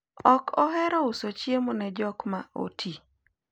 ok ohero uso chiemo ne jok ma oti